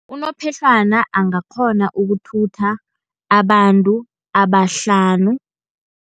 Unophehlwana, angakghona ukuthutha abantu abahlanu.